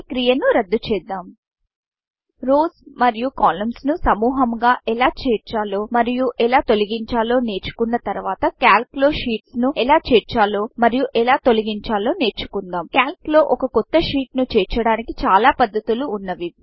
ఈ క్రియ ను రద్దు చేద్దాం rowsరోస్ మరియు columnsకాలమ్స్ ను సముహముగా ఎలా చేర్చాలో మరియు ఎలా తొలగించాలో నేర్చుకున్న తర్వాత Calcక్యాల్క్ లో షీట్స్ షీట్స్ను ఎలా చేర్చాలో మరియు ఎలా తొలగించాలో నేర్చుకుందాం calcక్యాల్క్ లో ఒక కొత్త sheetషీట్ను చేర్చడానికి చాల పద్దతులు వున్నవి